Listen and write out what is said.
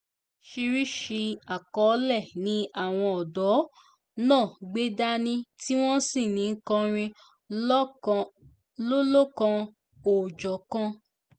oríṣiríṣii àkọlé ni àwọn ọ̀dọ́ náà gbé dání tí wọ́n sì ń kọrin lọ́lọ́kan-ò-jọ̀kan